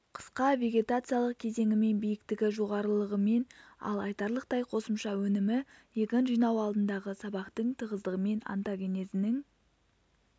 қысқа вегетациялық кезеңімен биіктігі жоғарылығымен ал айтарлықтай қосымша өнімі егін жинау алдындағы сабақтың тығыздығымен онтогенезінің